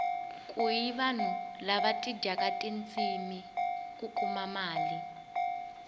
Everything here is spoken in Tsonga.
kuni vanhu lava dyindaka tindzimi ku kuma mali